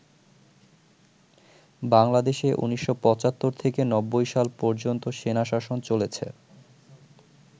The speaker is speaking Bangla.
বাংলাদেশে ১৯৭৫ থেকে ৯০ সাল পর্যন্ত সেনাশাসন চলেছে।